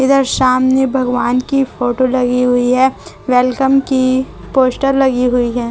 इधर सामने भगवान की फ़ोटो लगी हुई है वेलकम की पोस्टर लगी हुई है।